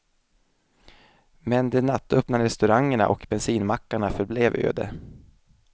Men de nattöppna restaurangerna och bensinmackarna förblev öde.